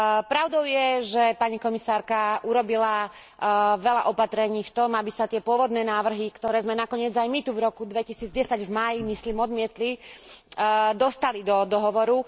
Pravdou je, že pani komisárka urobila veľa opatrení v tom, aby sa tie pôvodné návrhy, ktoré sme nakoniec aj my tu v roku 2010 v máji, myslím, odmietli, dostali do dohovoru.